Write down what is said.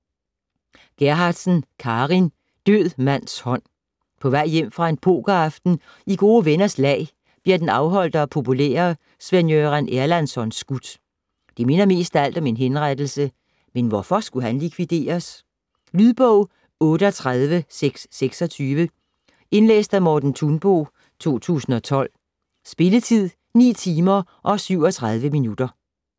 Gerhardsen, Carin: Død mands hånd På vej hjem fra en pokeraften i gode venners lag, bliver den afholdte og populære Sven-Göran Erlandsson skudt. Det minder mest af alt om en henrettelse, men hvorfor skulle han likvideres? Lydbog 38626 Indlæst af Morten Thunbo, 2012. Spilletid: 9 timer, 37 minutter.